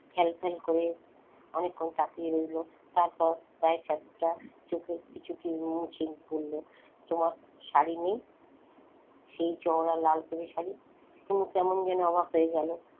ফ্যালফ্যাল করে অনেকক্ষণ তাকিয়ে রইল তারপর প্রায় চারটা বলল তোমার শাড়ি নেই? সেই চওড়া লালপেড়ে শাড়ি? হুমু কেমন যেন অবাক হয়ে গেল,